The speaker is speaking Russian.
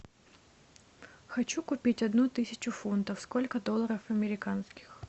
хочу купить одну тысячу фунтов сколько долларов американских